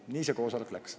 Nii see koosolek läks.